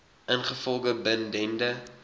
ingevolge bin dende